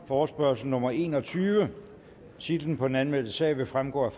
forespørgsel nummer en og tyve titlen på den anmeldte sag vil fremgå af